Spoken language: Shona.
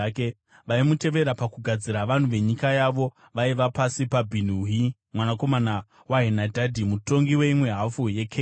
Vaimutevera pakugadzira, vanhu venyika yavo vaiva pasi paBhinui mwanakomana waHenadhadhi, mutongi weimwe hafu yeKeira.